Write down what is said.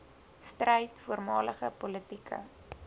stryd voormalige politieke